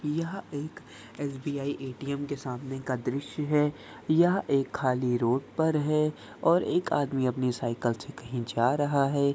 यह एक SBI. ATM. के सामने का दृश्य है यह एक खाली रोड पर है और एक आदमी अपनी साइकिल से कहीं जा रहा है।